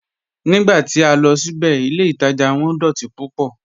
Nígbà tí a lọ síbẹ̀, ilẹ̀ Ìtaja wọn dọ̀tí púpọ̀"